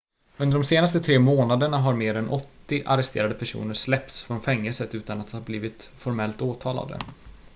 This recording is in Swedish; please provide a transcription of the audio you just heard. under de senaste tre månaderna har mer än 80 arresterade personer släppts från fängelset utan att ha blivit formellt åtalade